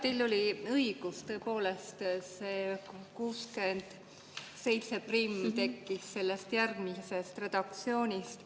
Teil oli õigus, tõepoolest, 671 tekkis sellest järgmisest redaktsioonist.